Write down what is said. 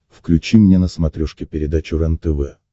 включи мне на смотрешке передачу рентв